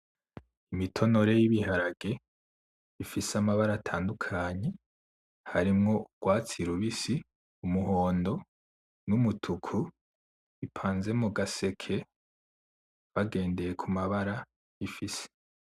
Imitonore yibiharage ifise amabara atandukanye harimwo urwatsi rubisi, umihondo n'umutuku bipanze mugaseke bagendeye kumabara bifise .